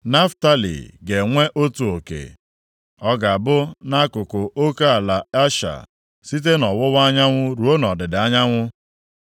Naftalị ga-enwe otu oke. Ọ ga-abụ nʼakụkụ oke ala Asha, site nʼọwụwa anyanwụ ruo nʼọdịda anyanwụ.